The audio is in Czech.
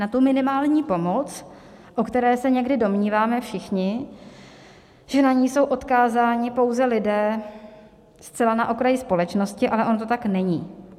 Na tu minimální pomoc, o které se někdy domníváme všichni, že na ni jsou odkázáni pouze lidé zcela na okraji společnosti, ale ono to tak není.